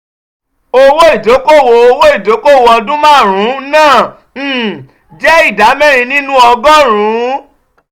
owó ìdókòwò owó ìdókòwò ọdún márùn-ún náà um jẹ́ ìdá mẹ́rin nínú ọgọ́rùn-ún.